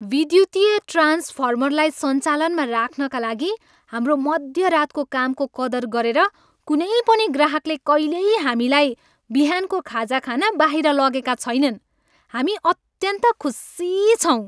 विद्युतीय ट्रान्सफर्मरलाई सञ्चालनमा राख्नाका लागि हाम्रो मध्यरातको कामको कदर गरेर कुनै पनि ग्राहकले कहिल्यै हामीलाई बिहानको खाजा खान बाहिर लगेका छैनन्। हामी अत्यन्त खुसी छौँ।